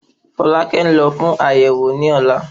Folake ń lọ fún àyẹ̀wò ni ọ̀la